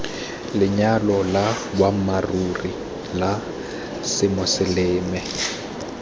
lenyalo la boammaaruri la semoseleme